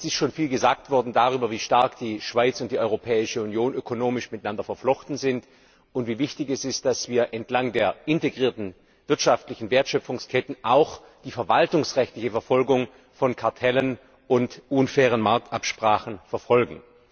Es ist schon viel darüber gesagt worden, wie stark die Schweiz und die Europäische Union ökonomisch miteinander verflochten sind, und wie wichtig es ist, dass wir entlang der integrierten wirtschaftlichen Wertschöpfungsketten auch die verwaltungsrechtliche Verfolgung von Kartellen und unfairen Marktabsprachen sicherstellen.